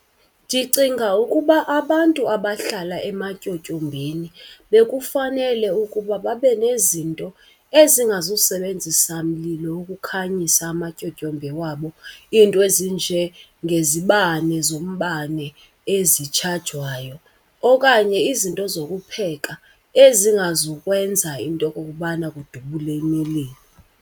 Ndicinga ukuba abantu abahlala ematyotyombeni bekufanele ukuba babe nezinto ezingazusebenzisa mlilo ukukhanyisa amatyotyombe wabo, iinto ezinjengezibane zombane ezitshajwayo okanye izinto zokupheka ezingazukwenza into okokubana kudubule imililo.